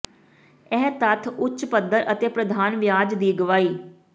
ਇਹ ਤੱਥ ਉੱਚ ਪੱਧਰ ਅਤੇ ਪ੍ਰਧਾਨ ਵਿਆਜ ਦੀ ਗਵਾਹੀ